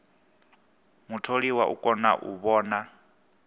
mutholiwa u kona u vhona